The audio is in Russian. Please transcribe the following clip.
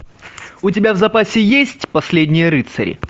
у тебя в запасе есть последние рыцари